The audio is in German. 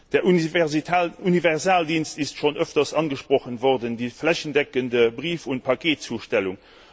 Der Universaldienst ist schon öfters angesprochen worden die flächendeckende Brief und Paketzustellung.